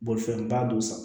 Bolifɛnba don sa